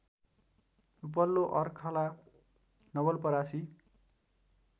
उपल्लो अर्खला नवलपरासी